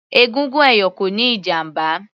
Egungun ẹ̀yọ̀ kò níí ìjàmbá